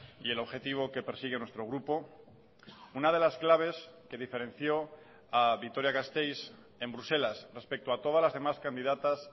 y el objetivo que persigue nuestro grupo una de las claves que diferenció a vitoria gasteiz en bruselas respecto a todas las demás candidatas